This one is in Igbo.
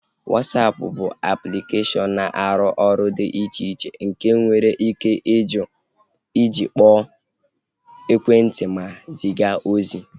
Wasapụ bụ aplikeshọn na-arụ ọrụ dị iche iche nke enwere ike iji kpọọ ekwentị ma ziga ozi